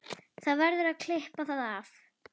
Það verður að klippa það af